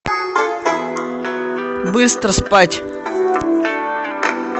быстро спать